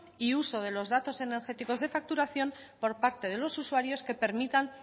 y uso de los datos energéticos de facturación por parte de los usuarios que permitan